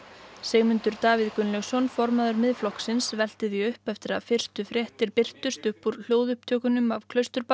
Sigmundur Davíð Gunnlaugsson formaður Miðflokksins velti því upp eftir að fyrstu fréttir birtust upp úr hljóðupptökunum af